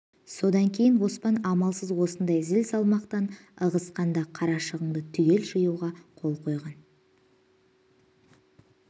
содан кейін оспан амалсыз осындай зіл-салмақтан ығысқан да қарашығынды түгел жиюға қол қойған